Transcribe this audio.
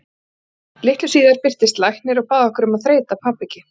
Litlu síðar birtist læknir og bað okkur um að þreyta pabba ekki.